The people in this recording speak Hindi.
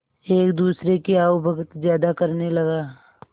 एक दूसरे की आवभगत ज्यादा करने लगा